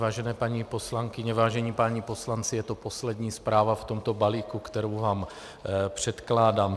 Vážené paní poslankyně, vážení páni poslanci, je to poslední zpráva v tomto balíku, kterou vám předkládám.